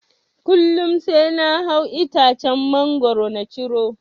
Kullum sai na hau itacen mangoro na ciro.